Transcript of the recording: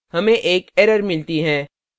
हमें एक error मिलती है